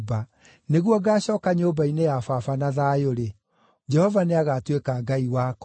nĩguo ngaacooka nyũmba-inĩ ya baba na thayũ-rĩ, Jehova nĩagatuĩka Ngai wakwa,